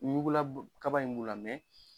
Ɲukula kaba in b'u la